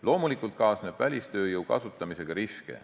Loomulikult kaasneb välistööjõu kasutamisega riske.